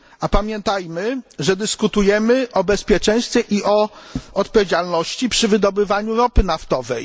Pamiętajmy, że dyskutujemy o bezpieczeństwie i o odpowiedzialności przy wydobywaniu ropy naftowej.